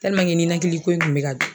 ninakili ko in kun be ka